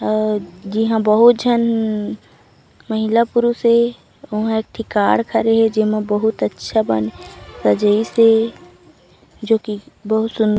अउ जिहा बहुत झन महिला-पुरुष हे उहा एक ठी कार खड़े हे जेमा बहुत अच्छा बन सजाइस हे जो की बहुत सुंदर--